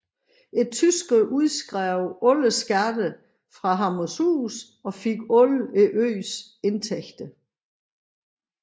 Tyskerne udskrev skatter fra Hammershus og fik alle øens indtægter